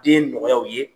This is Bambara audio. Den nɔgɔyaw ye